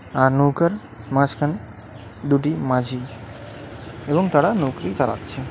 আর নৌকার মাঝখানে দুটি মাঝি এবং তারা নৌকাটি চালাচ্ছে .